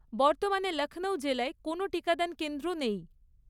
বর্তমানে লখনউ জেলায় কোনও টিকাদান কেন্দ্র নেই।